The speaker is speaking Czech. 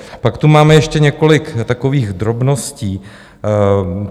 Pak tu máme ještě několik takových drobností.